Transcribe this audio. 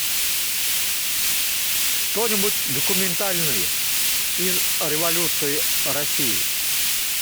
что нибудь документальное из революции россии